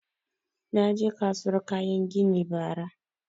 Na je kasuwar kayan gini bara